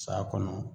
Saya kɔnɔ